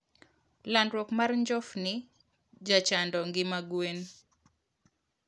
Landruok mar njofni jachando ngima gwen